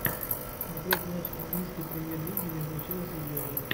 смотреть матч английской премьер лиги между челси и берли